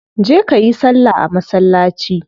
Je kayi salla a masallaci